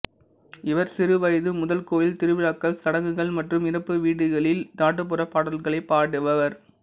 இவர் சிறுவயது முதல் கோயில் திருவிழாக்கள் சடங்குகள் மற்றும் இறப்பு வீடுகளில் நாட்டுப்புற பாடல்களை பாடுபவர்